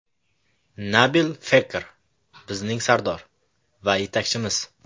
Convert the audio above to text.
Nabil Fekir bizning sardor va yetakchimiz.